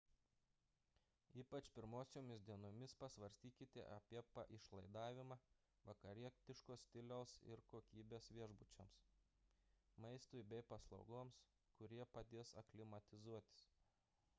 ypač pirmosiomis dienomis pasvarstykite apie paišlaidavimą vakarietiško stiliaus ir kokybės viešbučiams maistui bei paslaugoms kurie padės aklimatizuotis